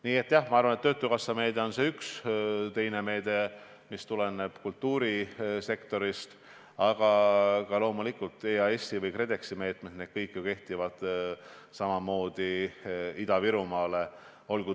Nii et jah, ma arvan, et töötukassameede on üks, teine meede tuleneb kultuurisektorist, aga loomulikult on ka EAS-i või KredExi meetmed – need kõik kehtivad ju samamoodi Ida-Virumaale.